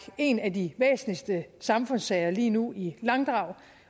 en af de væsentligste samfundssager lige nu i langdrag